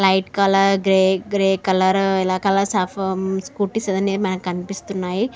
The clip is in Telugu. hmm light colour grey colour colours of స్కు--